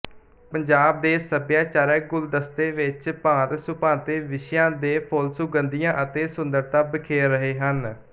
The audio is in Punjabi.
ਪੰਜਾਬ ਦੇ ਸਭਿਆਚਾਰਕ ਗੁਲ਼ਦਸਤੇ ਵਿੱਚ ਭਾਂਤਸੁਭਾਂਤੇ ਵਿਸ਼ਿਆਂ ਦੇ ਫੁੱਲਸੁਗੰਧੀਆਂ ਅਤੇ ਸੁੰਦਰਤਾ ਬਿਖੇਰ ਰਹੇ ਹਨ